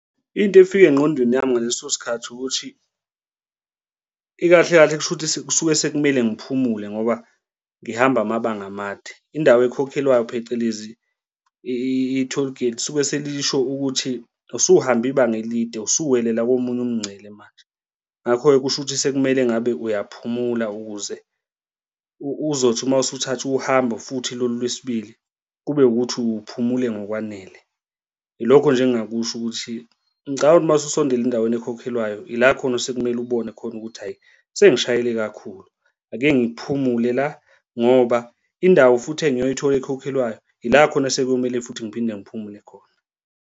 Into efika engqondweni yami ngaleso sikhathi ukuthi ikahle kahle kushuthi kusuke sekumele ngiphumule ngoba ngihamba amabanga amade, indawo ekhokhelwayo phecelezi i-tollgate lisuke selisho ukuthi usuhambe ibanga elide usuwelela komunye umngcele manje, ngakho-ke kusho ukuthi sekumele ngabe uyaphumula ukuze uzothi uma usuthatha uhambo futhi lolu lwesibili kube ukuthi uphumule ngokwanele. Ilokho nje engingakusho ukuthi ngicabanga ukuthi uma ususondele endaweni ekhokhelwayo ila khona osekumele ubone khona ukuthi, hhayi, sengishayele kakhulu ake ngiphumule la ngoba indawo futhi engiyoyithola ekhokhelwayo yila khona sekumele futhi ngiphinde ngiphumule khona.